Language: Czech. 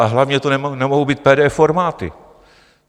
Ale hlavně to nemohou být PDF formáty.